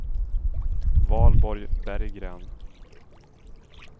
Valborg Berggren